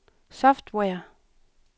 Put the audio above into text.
software